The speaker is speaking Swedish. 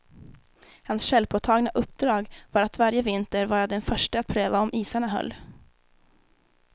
Hans självpåtagna uppdrag var att varje vinter vara den förste att pröva om isarna höll.